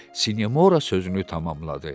Sinemora sözünü tamamladı.